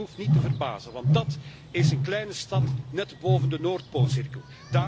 En dat hoeft niet te verbazen, want dat is een kleine stad net boven de noordpoolcirkel.